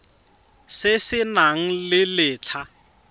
se se nang le letlha